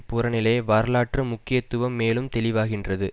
புறநிலை வரலாற்று முக்கியத்துவம் மேலும் தெளிவாகின்றது